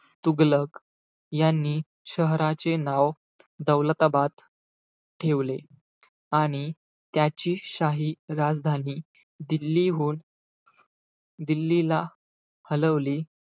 तुघलक यांनी शहराचे नाव दौलताबाद ठेवले. आणि त्याची शाही राजधानी दिल्लीहून दिल्लीला हलवली.